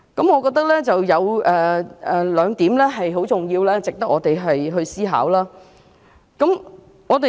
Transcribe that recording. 我認為有兩點很重要且值得我們思考。